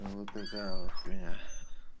вот такая хуйня